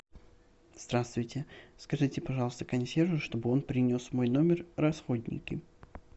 здравствуйте скажите пожалуйста консьержу чтобы он принес в мой номер расходники